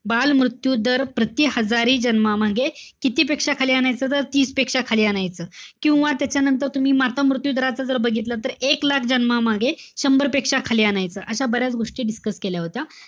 बालमृत्यू दर प्रति हजारी जन्मामागे किती पेक्षा खाली आणायचं? तीस पेक्षा खाली आणायचं. किंवा त्याच्यानंतर तुम्ही मातामृत्यू दराच जर बघितलं तर, एक लाख जन्मामागे शंभरपेक्षा खाली आणायचं. अशा बऱ्याच गोष्टी discuss केल्या होत्या.